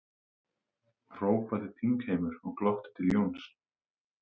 hrópaði þingheimur og glotti til Jóns.